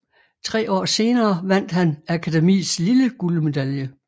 Tre år senere vandt han Akademiets lille guldmedalje